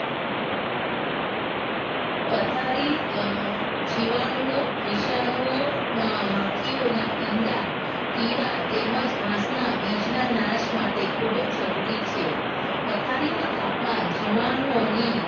પથારી અ જીવાણુઓ વિષાણુઓ માખીઓના ઈંડા કીડા તેમજ ઘાસના બીજના નાશ માટે ખૂબ જ જરૂરી છે પથારી નું તાપમાન જીવાણુઓની